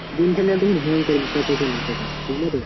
game খেললে processor নিতে হবে বুঝলে তো